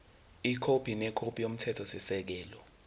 ikhophi nekhophi yomthethosisekelo